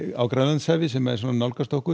á Grænlandshafi sem nálgast okkur